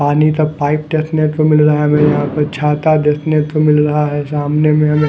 पानी का पाइप देखने को मिल रहा है हमें यहां पे छाता देखने को मिल रहा है सामने में हमें--